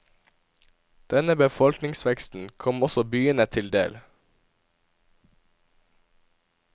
Denne befolkningveksten kom også byene til del.